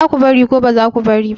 Za ku bari ko ba za ku bari ba?